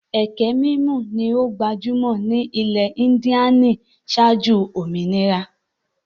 Ẹkẹ mímù ni ó gbajúmọ̀ jù ní ilẹ̀ Índíànì ṣáájú òmìnira.